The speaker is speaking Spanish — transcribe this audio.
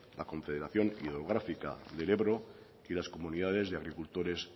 la confederación hidrográfica del ebro y las comunidades de agricultores